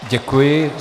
Děkuji.